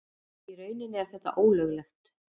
Í rauninni er þetta ólöglegt.